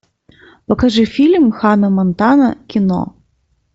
покажи фильм ханна монтана кино